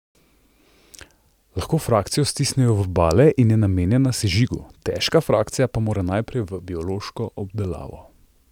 Lahko frakcijo stisnejo v bale in je namenjena sežigu, težka frakcija pa mora naprej v biološko obdelavo.